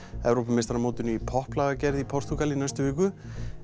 Evrópumeistaramótinu í í Portúgal í næstu viku